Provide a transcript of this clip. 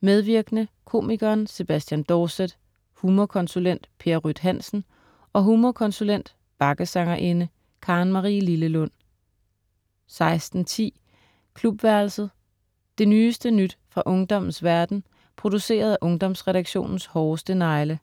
Medvirkende: komiker Sebastian Dorset, humorkonsulent Per Ryt Hansen og humorkonsulent/bakkesangerinde Karen Marie Lillelund 16.10 Klubværelset. Det nyeste nye fra ungdommens verden, produceret af Ungdomsredaktionens hårdeste negle